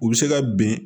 U bɛ se ka ben